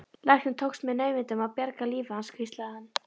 Læknunum tókst með naumindum að bjarga lífi hans hvíslaði hann.